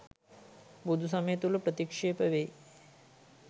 බුදුසමය තුළ ප්‍රතික්‍ෂ්ප වෙයි